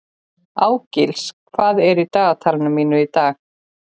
Ásgils, hvað er í dagatalinu mínu í dag?